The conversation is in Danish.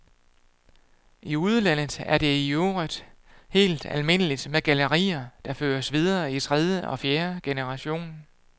I udlandet er det i øvrigt helt almindeligt med gallerier, der føres videre i tredje og fjerde generation.